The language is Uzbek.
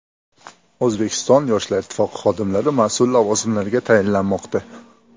O‘zbekiston Yoshlar ittifoqi xodimlari mas’ul lavozimlarga tayinlanmoqda.